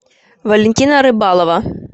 валентина рыбалова